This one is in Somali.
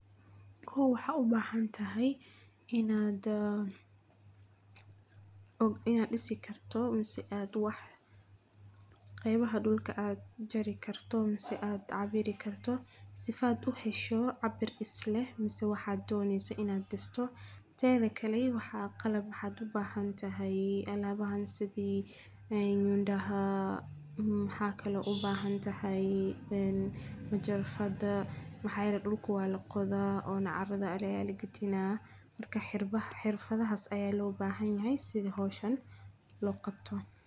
Kow waxad ubahantaxay, inad aa , ina disikarto mise aad wax, gebaha dulka aad jari karto mise aad cabiri karto, sifad u heshoo cabir isleh mise waxad doneyso inad disto, tedhakale waxa qalab waxad ubahantaxay alabahan sidhi yunda waxa kalo ubahantahay, een majarafada maxa yele dulka walaqoda ona carada aya lagadina, marka xirfadahas aya lobahanyahay sidhi howshan loqabto.